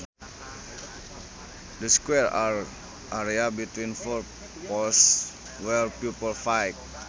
The square area between four poles where people fight